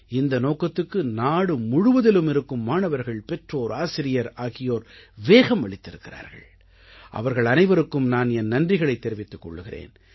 இந்த நோக்கத்துக்கு நாடு முழுவதிலும் இருக்கும் மாணவர்கள் பெற்றோர் ஆசிரியர் ஆகியோர் வேகம் அளித்திருக்கிறார்கள் அவர்கள் அனைவருக்கும் நான் என் நன்றிகளைத் தெரிவித்துக் கொள்கிறேன்